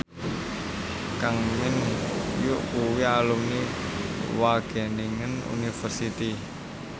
Kang Min Hyuk kuwi alumni Wageningen University